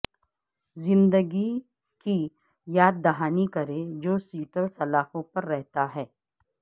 زندگی کی یاد دہانی کریں جو سیٹر سلاخوں پر رہتا ہے